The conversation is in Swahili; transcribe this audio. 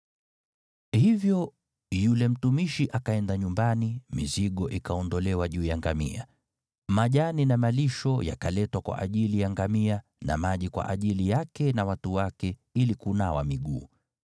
Hivyo yule mtumishi akaenda nyumbani, mizigo ikaondolewa juu ya ngamia. Majani na malisho yakaletwa kwa ajili ya ngamia na maji kwa ajili yake na watu wake ili kunawa miguu.